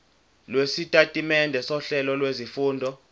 lwesitatimende sohlelo lwezifundo